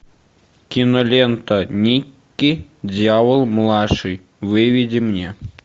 кинолента никки дьявол младший выведи мне